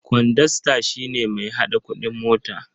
Kwandasta shi ne mai haɗa kuɗin mota.